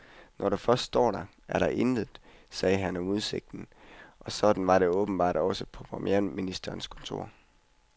Når du først står der, er der intet, sagde han om udsigten, og sådan var det åbenbart også på premierministerens kontor.